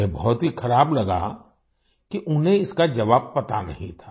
उन्हें बहुत ही ख़राब लगा कि उन्हें इसका जवाब पता नहीं था